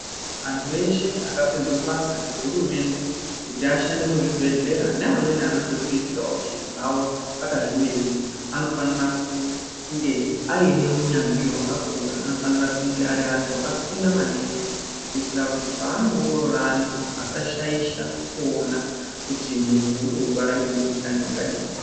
Antu eshe akapinzwe basa ngehurumende kuti ashande muzvibhehlera neamweni anondozviitira zviro zvawo akazvimiririra anofanira kunge aine unyanzvi wakakura ,anofanira kunge ari anhu akafunda maningi, kuitira kuti paanoongorora antu vasashaisha kuona kuti muntu urikurwara nemukhuhlani wakadini.